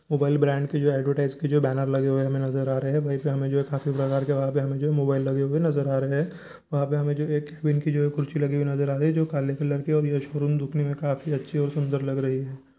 Mobile brand के जो advertise के जो बैनर लगे हुए नजर आ रही है वही पे हमे जो है काफी प्रकार के हमे जो मोबाईल नजर आ रहे है वहां पे हमे जो है एक उनकी कुर्सी नजर आ रही है जी काले कलर की है और ये शोरूम दिखने मे काफी अच्छी और सुंदर नजर आ रही है।